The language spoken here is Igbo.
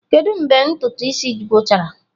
Kedu mgbe ntụtụ isi gwụchara?